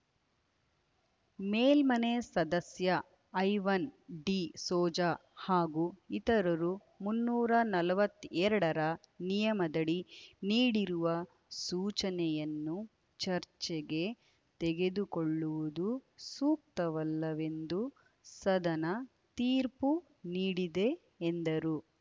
ಮೇಲ್ಮನೆ ಸದಸ್ಯ ಐವನ್‌ ಡಿ ಸೋಜಾ ಹಾಗೂ ಇತರರು ಮುನ್ನೂರ ನಲವತ್ತೆರಡರ ನಿಯಮದಡಿ ನೀಡಿರುವ ಸೂಚನೆಯನ್ನು ಚರ್ಚೆಗೆ ತೆಗೆದುಕೊಳ್ಳುವುದು ಸೂಕ್ತವಲ್ಲವೆಂದು ಸದನ ತೀರ್ಪು ನೀಡಿದೆ ಎಂದರು